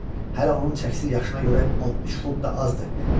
Hələ onun çəkisi yaşına görə 13 funt da azdır.